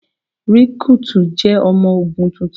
Rìkrúùtù jẹ́ ọmọ ogun tuntun.